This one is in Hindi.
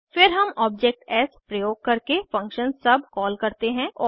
फिर हम ऑब्जेक्ट एस प्रयोग करके फंक्शन सुब कॉल करते हैं